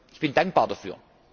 Ich bin dankbar dafür.